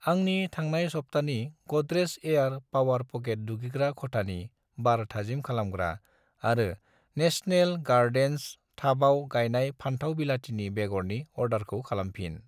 आंनि थांनाय सबथानि गडरेज एयार पावार पकेट दुगैग्रा खथानि बार थाजिम खालामग्रा आरो नेशनेल गारडेन्स थाबाव गायनाय फान्थाव बिलातिनि बेगरनि अर्डारखौ खालामफिन।